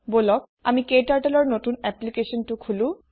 বলক আমি KTurtleৰ নতুন এপলিকাছন এটা খোলো